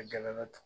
A gɛlɛma dɔ